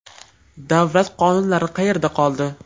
Davlat qonunlari qayerda qoldi?